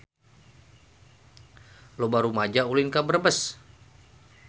Loba rumaja ulin ka Brebes